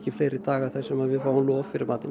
fleiri daga þar sem við fáum lof fyrir matinn